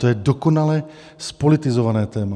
To je dokonale zpolitizované téma.